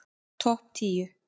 Topp tíu